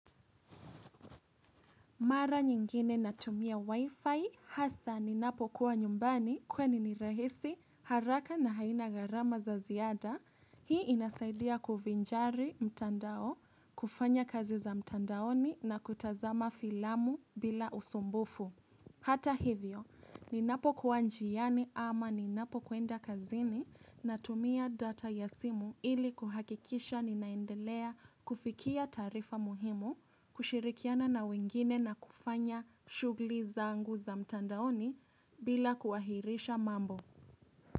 Mara nyingine natumia wifi hasa ninapokuwa nyumbani kwani ni rahisi haraka na haina garama za ziada. Hii inasaidia kuvinjari mtandao, kufanya kazi za mtandaoni na kutazama filamu bila usumbufu. Hata hivyo, ninapo kuwa njiani ama ninapokwenda kazini natumia data ya simu ili kuhakikisha ninaendelea kufikia tarifa muhimu, kushirikiana na wengine na kufanya shugli za angu za mtandaoni bila kuhahirisha mambo.